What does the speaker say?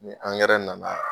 Ni angɛrɛ nana